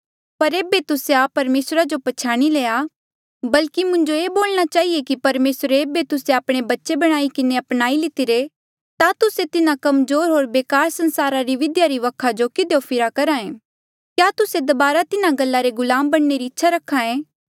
पर ऐबे तुस्से परमेसरा जो पछयाणी लया बल्की मुंजो ये बोलणा चहिए कि परमेसरे ऐबे तुस्से आपणे बच्चे बणाई किन्हें अपनाई लितिरा ता तुस्से तिन्हा कमजोर होर बेकार संसारा री बिधिया री वखा जो किधियो फिरया करहा ऐें क्या तुस्से दबारा तिन्हा गल्ला रे गुलाम बणने री इच्छा रखे